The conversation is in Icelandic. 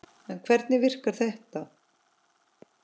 En hvernig virkar þetta?